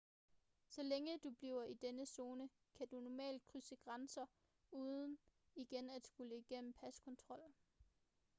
så længe du bliver i denne zone kan du normalt krydse grænser uden igen at skulle igennem paskontrol